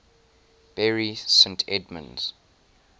bury st edmunds